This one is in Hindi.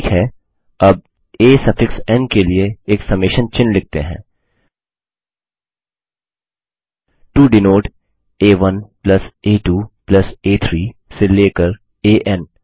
ठीक है अब आ सफिक्स एन के लिए एक समेशन चिन्ह लिखते हैं टो डिनोट आ1 आ2 आ3 से लेकर एएन